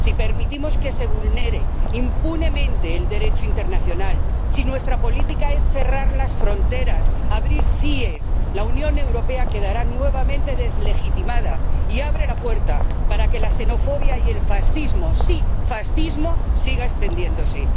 Si permitimos que se vulnere impunemente el Derecho internacional, si nuestra política es cerrar las fronteras, abrir CIES, la Unión Europea quedará nuevamente deslegitimada y abrirá la puerta para que la xenofobia y el fascismo —sí, fascismo— siga extendiéndose.